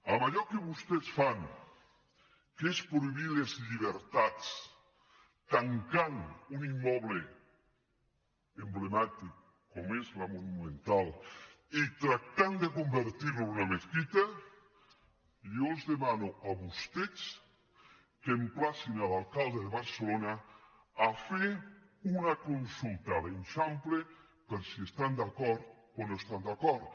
amb allò que vostès fan que és prohibir les llibertats tancant un immoble emblemàtic com és la monumental i tractant de convertir lo en una mesquita jo els demano a vostès que emplacin l’alcalde de barcelona a fer una consulta a l’eixample per si hi estan d’acord o no hi estan d’acord